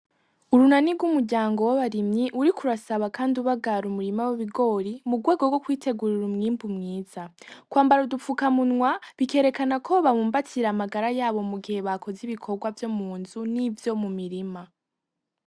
Urunani gw'umuryango w'abarimyi, uriko urasaba kandi ubahara umurima w'ibigori, mugwego gwo kwitegurira umwimbu mwiza. Kwambara udufuka munwa bikerekana ko babumbatira amagara yabo mugihe bakoze ibikogwa vyo munzu nivyo mumirima.